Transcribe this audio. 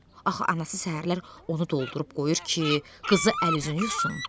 Axı anası səhərlər onu doldurub qoyur ki, qızı əl-üzünü yusun.